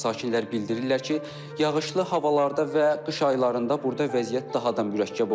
Sakinlər bildirirlər ki, yağışlı havalarda və qış aylarında burda vəziyyət daha da mürəkkəb olur.